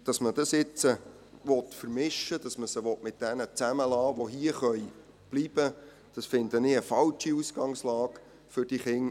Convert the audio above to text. Dass man sie nun mit jenen zusammenbleiben lassen will, die hierbleiben können, finde ich eine falsche Ausgangslage für die Kinder.